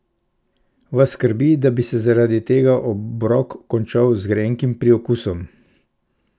Vas skrbi, da bi se zaradi tega obrok končal z grenkim priokusom?